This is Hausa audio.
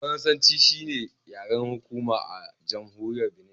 Faransanci. shi ne yaren hukuma a Jamhuriyar Binin